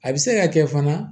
A bɛ se ka kɛ fana